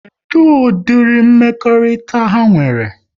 Kedụ ụdịri mmekọrịta ha nwere?